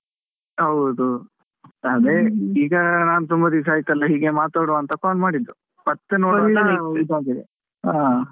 ಹೌದು ಅದೇ ಈಗ ನಾನು ತುಂಬಾ ದಿವಸ ಆಯ್ತಲ್ಲ ಹೀಗೆ ಮಾತಾಡುವ ಅಂತ call ಮಾಡಿದ್ದು, ಮತ್ತೆ? ನೋಡುವಾಗ ಇದಾಗಿದೆ ಹಾ .